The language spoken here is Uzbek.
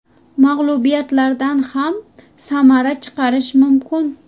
Mag‘lubiyatlardan ham samara chiqarish mumkin.